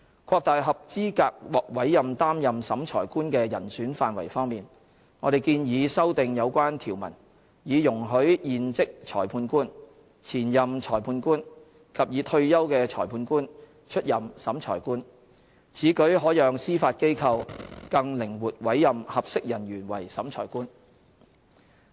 擴大合資格獲委任擔任審裁官的人選範圍方面，我們建議修訂有關條文，以容許現職裁判官、前任裁判官及已退休的裁判官出任審裁官，此舉可讓司法機構更靈活委任合適人員為審裁官。